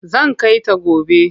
Zan kai ta gobe.